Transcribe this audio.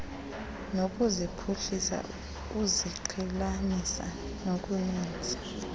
nokuziphuhlisa uziqhelanisa nokuninzi